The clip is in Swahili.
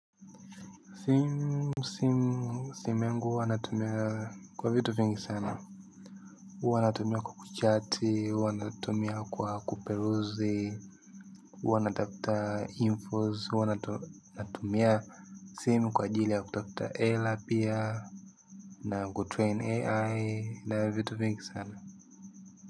Simu simu yangu huwa natumia kwa vitu vingi sana. Huwa natumia kwa kuchati, huwa natumia kwa kuperuzi hawa natafuta infos huwa natumia simu kwa ajili ya kutafuta hela pia. Na kutrain ai na vitu vingi sana.